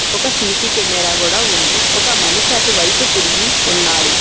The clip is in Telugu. ఒక సీసీ కెమెరా కూడా ఉంది ఒక మనిషి అటువైపు తిరిగి ఉన్నాడు.